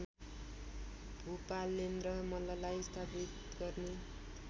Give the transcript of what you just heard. भुपालेन्द्र मल्ललाई स्थापित गर्ने